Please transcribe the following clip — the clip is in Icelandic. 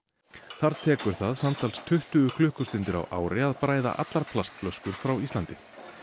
þar tekur það samtals tuttugu klukkustundir á ári að bræða allar plastflöskur frá Íslandi